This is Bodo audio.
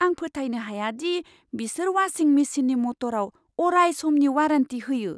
आं फोथायनो हाया दि बिसोर वाशिं मेसिननि मटराव अराय समनि वारेन्टि होयो!